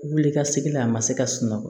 Wuli ka segi la a ma se ka sunɔgɔ